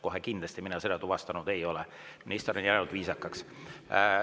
Kohe kindlasti mina seda tuvastanud ei ole, minister on jäänud viisakaks.